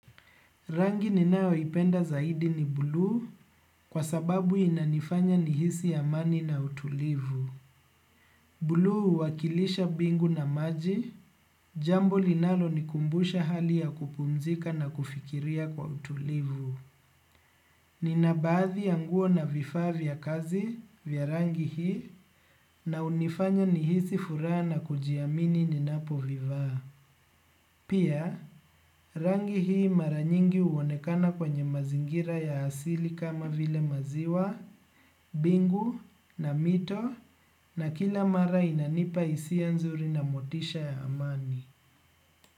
Rangi ninayoipenda zaidi ni buluu kwa sababu inanifanya nihisi amani na utulivu. Buluu huwakilisha mbingu na maji, jambo linalonikumbusha hali ya kupumzika na kufikiria kwa utulivu. Nina baadhi ya nguo na vifaa vya kazi vya rangi hii na hunifanya nihisi furaha na kujiamini ninapovivaa. Pia rangi hii mara nyingi huonekana kwenye mazingira ya asili kama vile maziwa, bingu na mito na kila mara inanipa hisia nzuri na motisha ya amani.